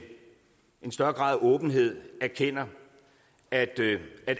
en større grad af åbenhed erkender at